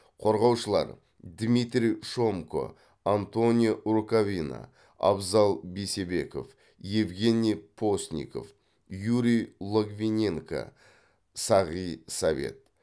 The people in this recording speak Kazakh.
қорғаушылар дмитрий шомко антонио рукавина абзал бейсебеков евгений постников юрий логвиненко сағи совет